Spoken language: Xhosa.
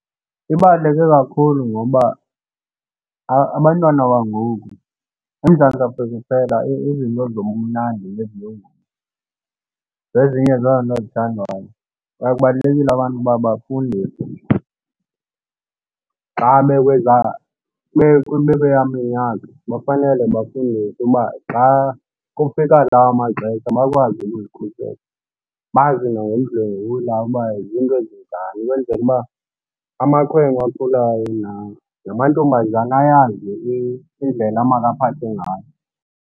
Ibaluleke kakhulu ngoba abantwana bangoku, iMzantsi Afrika iphela izinto zobumnandi zezinye zezinto ezithandwayo kwaye kubalulekile abantu uba bafundiswe xa bekwezaa bekulaa minyaka, bafanele bafundiswe uba xa kufika laa maxesha bakwazi ukuzikhusela. Bazi nangokudlwengula uba zinto ezinjani ukwenzela uba amakhwenkwe akhulayo namantombazana ayazi indlela makaphathwe ngayo.